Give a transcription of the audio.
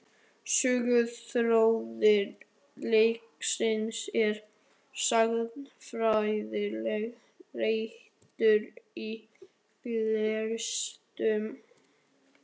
Söguþráður leiksins er sagnfræðilega réttur í flestum meginatriðum.